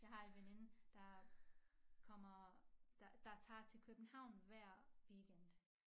Jeg har en veninde der kommer der der tager til København hver weekend